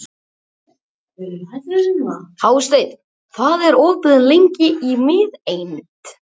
Hásteinn, hvað er opið lengi í Miðeind?